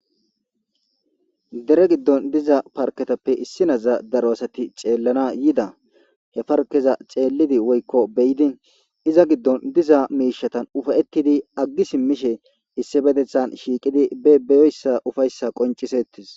Dere giddon diza parketappe issi naza daro asati ceellana yida he parkeza ceellidi woykko beyidi iza giddon diza miishatan ufayettidi aggi simmishe issi bedethan shiiqidi be beyoyssa ufayssa qoncisettis.